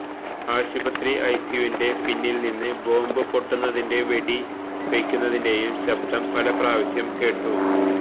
ആശുപത്രി ഐസിയുവിന്റെ പിന്നില് നിന്ന് ബോംബു പൊട്ടുന്നതിന്റെയും വെടി വയ്ക്കുന്നതിന്റെയും ശബ്ദം പല പ്രാവശ്യം കേട്ടു